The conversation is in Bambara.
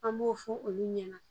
An b'o fɔ olu ɲɛna